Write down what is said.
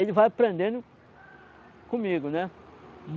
Ele vai aprendendo comigo, né?